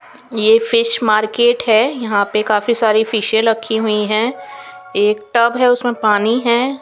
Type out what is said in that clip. ये fish market है यहाँ पे काफ़ी सारी फिशे रखी हुई है एक टब है उसमे पानी है ।